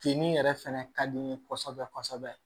Jenin yɛrɛ fɛnɛ ka di n ye kɔsɔbɛ kɔsɔbɛ